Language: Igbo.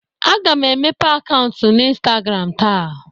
Aga m emepe akaụnt n'Instagram taa.